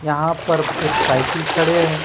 यहां पर एक साइकिल खड़े हैं।